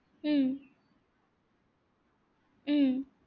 উম উম